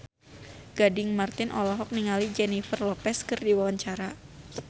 Gading Marten olohok ningali Jennifer Lopez keur diwawancara